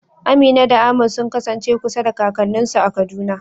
Amina da Ahmad sun kasance kusa da kakanninsu a Kaduna.